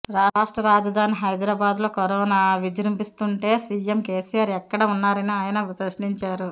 రాష్ట్ర రాజధాని హైదరాబాద్లో కరోనా విజృంభిస్తుంటే సీఎం కేసీఆర్ ఎక్కడ ఉన్నారని ఆయన ప్రశ్నించారు